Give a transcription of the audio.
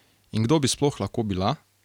In kdo bi sploh lahko bila?